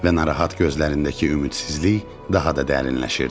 Və narahat gözlərindəki ümidsizlik daha da dərinləşirdi.